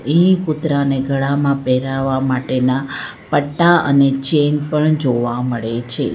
અહીં કૂતરાને ગળામાં પહેરાવવા માટેના પટ્ટા અને ચેન પણ જોવા મળે છે.